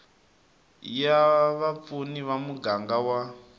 ya vapfuni ya muganga wa